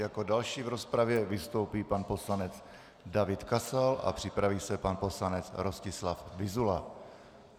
Jako další v rozpravě vystoupí pan poslanec David Kasal a připraví se pan poslanec Rostislav Vyzula.